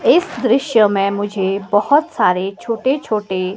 इस दृश्य में मुझे बहोत सारे छोटे छोटे--